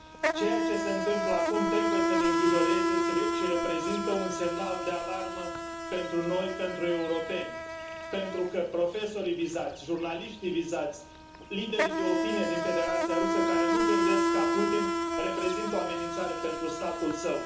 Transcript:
Ceea ce se întâmplă acum trebuie să ne îngrijoreze și reprezintă un semnal de alarmă pentru noi, pentru europeni, pentru că profesorii vizați, jurnaliștii vizați, liderii de opinie din Federația Rusă care nu gândesc ca Putin reprezintă o amenințare pentru Statul său.